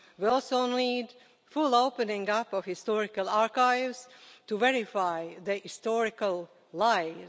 We also need the full opening up of historical archives to verify the historical lies.